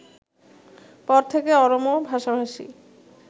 পর থেকে অরমো ভাষাভাষী